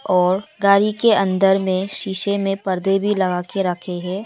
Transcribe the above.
और गाड़ी के अंदर में शीशे में पर्दे भी लगा के रखे हैं।